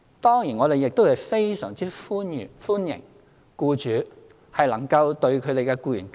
當然，我們亦非常歡迎僱主能夠對其僱員更好。